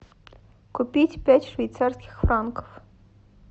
купить пять швейцарских франков